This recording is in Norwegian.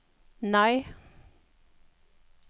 nei